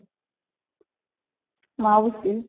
ମାଉସୀ